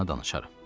danışaram.